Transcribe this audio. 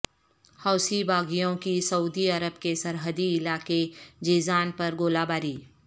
حوثی باغیوں کی Saudi Arab کے سرحدی علاقے جیزان پر گولہ باری